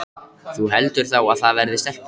Þú heldur þá að það verði stelpa?